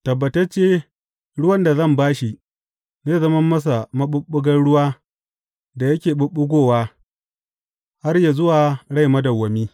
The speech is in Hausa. Tabbatacce, ruwan da zan ba shi, zai zama masa maɓuɓɓugan ruwa da yake ɓuɓɓugowa har yă zuwa rai madawwami.